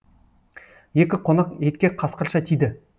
екі қонақ етке қасқырша тиді